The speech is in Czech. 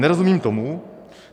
Nerozumím tomu.